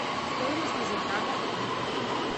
стоимость лазертага в отеле